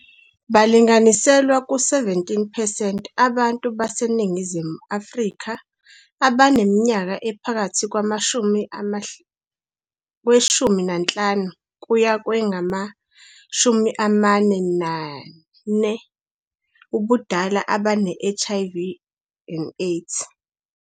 Balinganiselwa ku-17percent abantu baseNingizimu Afrika abaneminyaka ephakathi kwengu-15 kuya kwengama-44 ubudala abane-HIV and AIDS.